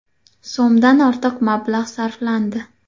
so‘mdan ortiq mablag‘ sarflandi.